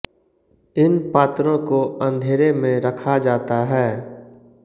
इन पात्रों को अंधेरे में रखा जाता है